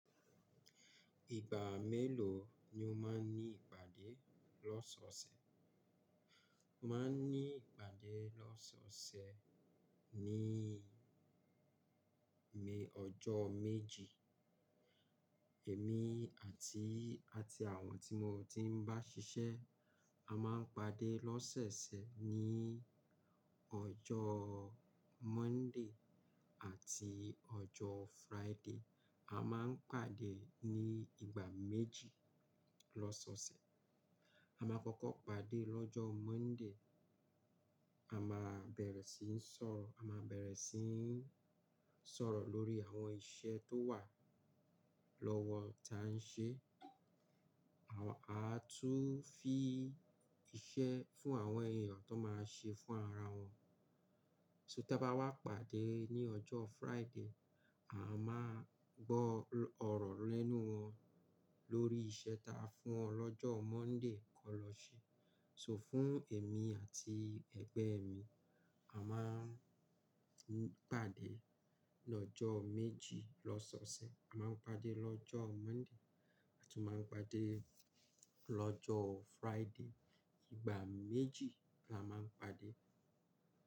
Ìgbà mélòó ni o máa ń ní ìpàdé lọ́sọ̀ọ̀sẹ̀? Máa ń ní ìpàdé lọ́sọ̀ọ̀sẹ̀ ní bi ọjọ́ méjì. Ẹ̀mí àti, àti àwọn tí mo ti ń bá ṣiṣẹ́, a máa ń pàdé lọ́sẹ̀sẹ̀ ní ọjọ́ Monday àti ọjọ́ Friday. A máa ń pàdé ní ìgbà méjì lọ́sọ̀ọ̀sẹ̀. A máa kọ́kọ́ pàdé lọ́jọ́ Monday. A máa bẹ̀rẹ̀ síi sọ̀rọ̀, a máa bẹ̀rẹ̀ síi sọ̀rọ̀ lórí àwọn iṣẹ́ tó wà lọ́wọ́ ta a ń ṣe. Aa tún fí í iṣẹ́ fún àwọn èèyàn tó máa ṣe fún ara wọn. So tí a bá wá pàdé ní ọjọ́ Friday, a máa gbọ́ ọ̀rọ̀ lẹ́nu wọn lórí iṣẹ́ ta a fún wọn lọ́jọ́ Monday kó lọ ṣe. So fún èmi àti ẹgbẹ́ mi, a máa ń pàdé lọ́jọ́ méjì lọ́sọ̀ọ̀sẹ̀. A máa ń pàdé lọ́jọ́ Monday, a tún máa ń pàdé lọ́jọ́ Friday. Ìgbà méjì la máa ń pàdé.